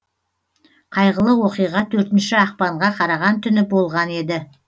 қайғылы оқиға төртінші ақпанға қараған түні болған еді